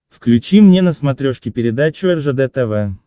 включи мне на смотрешке передачу ржд тв